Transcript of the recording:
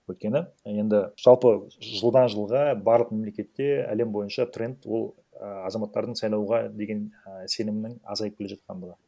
өйткені енді жалпы жылдан жылға барлық мемлкетте әлем бойынша тренд ол і азаматтардың сайлауға деген і сенімнің азайып келе жатқандығы